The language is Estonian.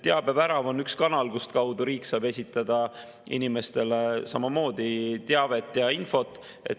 Teabevärav on üks kanal, kustkaudu riik saab esitada inimestele samamoodi teavet ja infot.